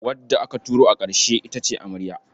Wadda aka auro a ƙarshe ita ce amarya.